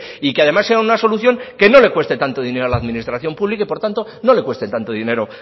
y que además sea una solución que no le cueste tanto dinero a la administración pública y por tanto no le cueste tanto dinero